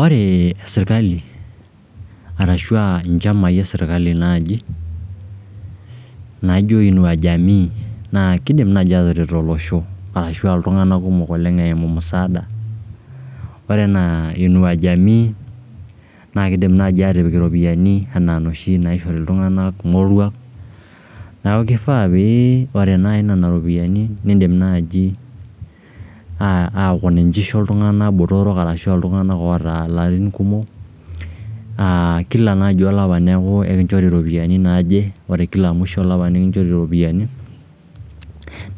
Ore serikali arashu nchamai e serikali naaji naijo Inua Jamii naa kiidim nai ataret olosho arashu iltung'anak kumok oleng eimu msaada. Ore enaa Inua Jamii naa kiidim naai aatipik iropiyiani inoshi naishori iltung'anak morwak, neeku kifaa pee ore naai nena ropiyiani nidim naai aaki ninche isho iltung'anak botorok arashu iltung'anak oota ilarin kumok. Kila naaji olapa neeku ore iropiyiani naaje, ore mwisho olapa nekinchori iropiyiani.